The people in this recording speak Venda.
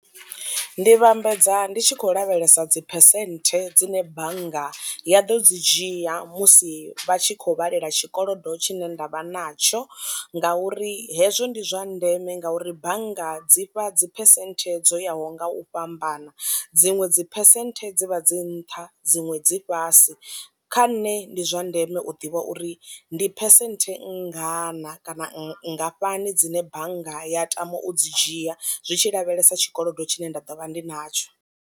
Ndi vhambedza ndi tshi khou lavhelesa dzi phesenthe dzine bannga ya ḓo dzi dzhia musi vhatshi kho vhalela tshikolodo tshine ndavha natsho ngauri hezwo ndi zwa ndeme ngauri bannga dzi fha dzi phesenthe dzo yaho nga u fhambana, dziṅwe dzi phesenthe dzivha dzi nṱha dziṅwe dzi fhasi, kha nṋe ndi zwa ndeme u ḓivha uri ndi phesenthe nngana kana nngafhani dzine bannga ya tama u dzi dzhia zwi tshi lavhelesa tshikolodo tshine nda ḓo vha ndi natsho.